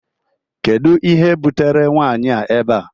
Kedu ihe butere nwanyi a ebea?